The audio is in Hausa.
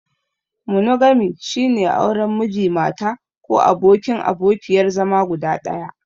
Monogami, shine auren Miji/Mata ko abokin/abokiyar zama guda ɗaya.